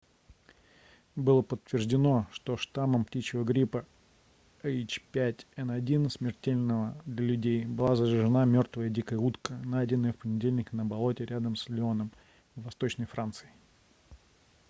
было подтверждено что штаммом птичьего гриппа h5n1 смертельного для людей была заражена мёртвая дикая утка найденная в понедельник на болоте рядом с леоном в восточной франции